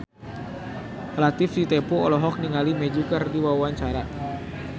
Latief Sitepu olohok ningali Magic keur diwawancara